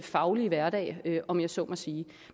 faglige hverdag om jeg så må sige